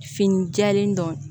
Fini jɛlen dɔ